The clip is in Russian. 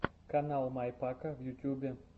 канал май пака в ютьюбе